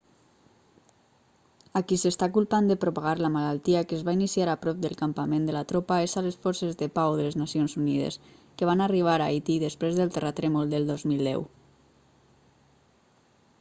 a qui s'està culpant de propagar la malaltia que es va iniciar a prop del campament de la tropa és a les forces de pau de les nacions unides que van arribar a haití després del terratrèmol del 2010